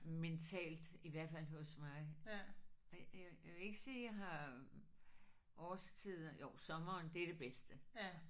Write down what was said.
Mentalt i hvert fald hos mig. Jeg jeg vil ikke sige jeg har årstider jo sommeren det er det bedste